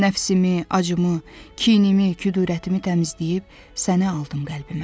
Nəfsimi, acımı, kinimi, kudurətimi təmizləyib səni aldım qəlbimə.